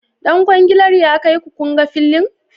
Dan kwangilar ya kaiku kunga filin?